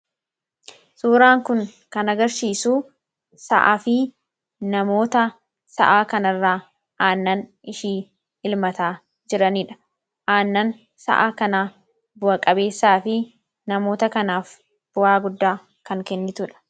suuraan kun kanagarsiisuu sa'aa fi namoota sa'aa kanirraa aannan ishii ilmataa jiraniidha aannan sa'aa kanaa bu'a-qabeessaa fi namoota kanaaf bu'aa guddaa kan kennituudha